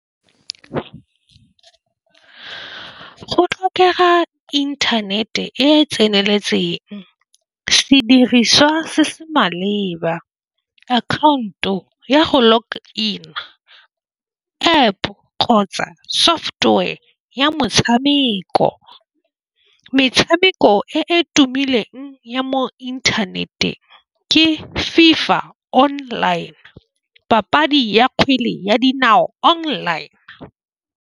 Go tlhokega inthanete e tseneletseng sediriswa se se maleba. Account-o ya go lock in-a App kgotsa software ya motshameko. Metshameko e e tumileng ya mo inthaneteng ke FIFA online papadi ya kgwele ya dinao online.